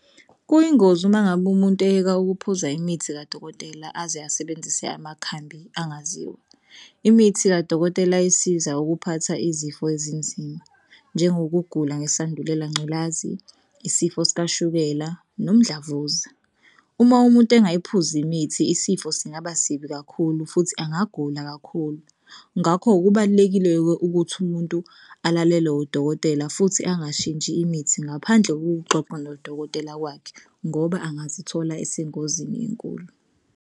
Kuyingozi uma ngabe umuntu eyeka ukuphuza imithi kadokotela aze asebenzise amakhambi angaziwa. Imithi kadokotela isiza ukuphatha izifo ezinzima njengokugula ngesandulela ngculazi, isifo sikashukela nomdlavuza. Uma umuntu engayiphuzi imithi isifo singaba sibi kakhulu futhi angagula kakhulu. Ngakho kubalulekile-ke ukuthi umuntu alalele udokotela futhi angashintshi imithi ngaphandle kokuxoxa nodokotela wakhe ngoba angazithola esengozini enkulu.